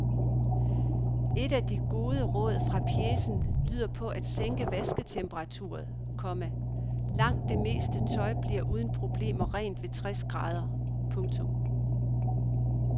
Et af de gode råd fra pjecen lyder på at sænke vasketemperaturen, komma langt det meste tøj bliver uden problemer rent ved tres grader. punktum